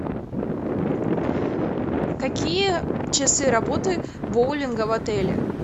какие часы работы боулинга в отеле